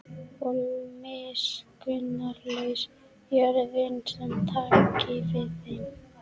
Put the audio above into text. Og miskunnarlaus jörðin sem taki við þeim.